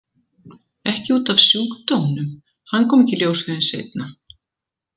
Ekki út af sjúkdómnum, hann kom ekki í ljós fyrr en seinna.